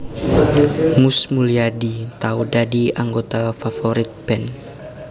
Mus Mulyadi tau dadi anggota Favourite Band